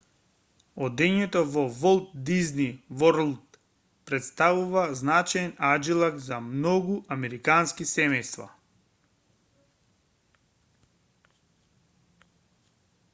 одењето во волт дизни ворлд претставува значаен аџилак за многу американски семејства